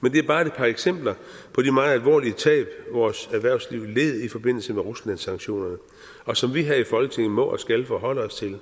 men det er bare et par eksempler på de meget alvorlige tab vores erhvervsliv led i forbindelse med ruslandssanktionerne og som vi her i folketinget må og skal forholde os til